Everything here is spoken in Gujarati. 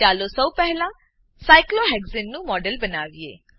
ચાલો સૌ પહેલા સાયક્લોહેક્સાને સાયક્લોહેક્ઝેન નું મોડેલ બનાવીએ